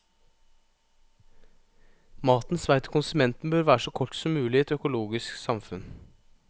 Matens vei til konsumenten bør være så kort som mulig i et økologisk samfunn.